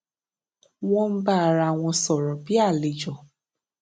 wón ń bá ara wọn sòrò bí àlejò